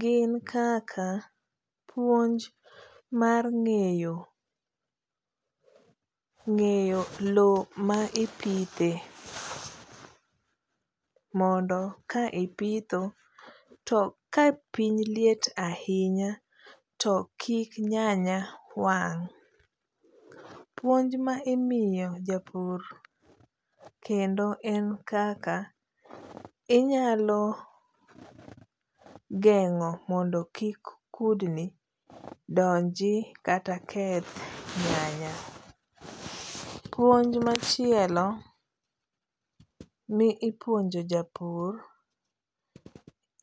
gin kaka puonj mar ng'eyo ,ng'eyo loo ma ipithe mondo ka ipitho to ka piny liet ahinya to kik nyanya wang'.Puonj ma imiyo japur kendo en kaka inyalo geng'o mondo kik kudni donji kata keth nyanya. Puonj machielo mi ipuonjo japur